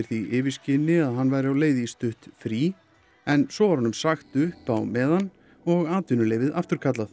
því yfirskini að hann væri á leið í stutt frí en svo var honum sagt upp á meðan og atvinnuleyfið afturkallað